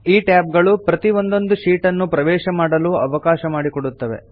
ಈ ಟ್ಯಾಬ್ ಗಳು ಪ್ರತೀ ಒಂದೊಂದು ಶೀಟ್ ನ್ನು ಪ್ರವೇಶ ಮಾಡಲು ಅವಕಾಶ ಮಾಡಿ ಕೊಡುತ್ತದೆ